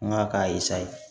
N ka k'a ye sa ye